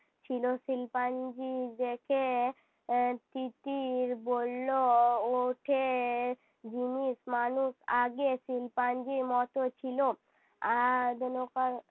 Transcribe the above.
ছিল। শিল্পাঞ্জি দেখে এর তিতির বললো ওঠে জিনিস মানুষ আগে শিম্পাঞ্জির মতো ছিল।